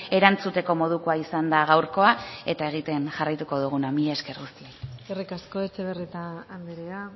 erantzuteko modua izan da gaurkoa eta egiten jarraituko duguna mila esker guztioi eskerrik asko etxebarrieta andrea